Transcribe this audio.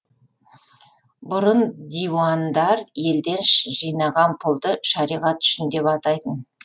бұрын диуандар елден жинаған пұлды шариғат үшін деп атайтын